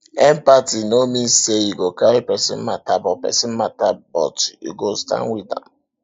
empathy no mean sey you go carry pesin mata but pesin mata but you go stand wit am